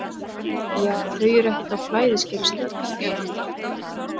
Ja, þau eru ekkert á flæðiskeri stödd.